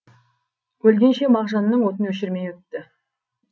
өлгенше мағжанның отын өшірмей өтті